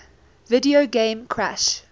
video game crash